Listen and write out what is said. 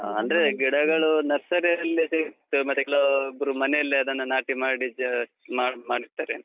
ಗಿಡಗಳು. ನರ್ಸರಿಯಲ್ಲಿ ಸಿಗುತ್ತೆ, ಮತ್ತೆ ಕೆಲವೊಬ್ರು ಮನೆಯಲ್ಲಿ ಅದನ್ನ ನಾಟಿ ಮಾಡಿ ಅಹ್ ಮಾಡ್~ ಮಾಡಿ ಮಾಡಿರ್ತಾರೆ.